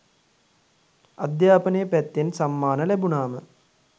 අධ්‍යාපනය පැත්තෙන් සම්මාන ලැබුණාම